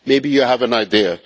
Maybe you have an idea.